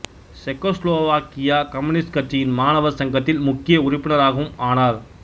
Czechoslovakia communist கட்சியின் மாணவர் சங்கத்தில் முக்கிய உறுப்பினராகவும் ஆனார்